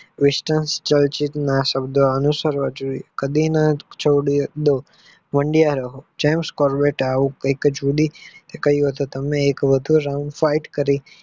વિષિતઃ જળસિધ્ધ ના શબ્દ અનુસારવા જોઈએ કડીના છોડીયે મઠિયા રહો જેમસ કોલંટાઇમને કહિઉ હતું તમે એક વધુ round fight કરો.